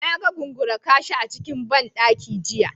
Na ga Gungura-kashi a cikin ban daki jiya.